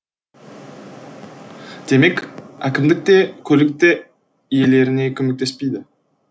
демек әкімдік те көлік те иелеріне көмектеспейді